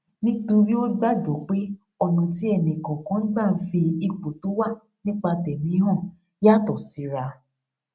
nítorí ó gbàgbó pé ònà tí ẹnì kòòkan gbà ń fi ipò tó wà nípa tẹmi hàn yàtò síra